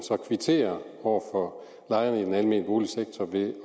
kvitterer over for lejerne i den almene boligsektor ved at